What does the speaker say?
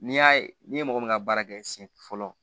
N'i y'a ye n'i ye mɔgɔ min ka baara kɛ siɲɛ fɔlɔ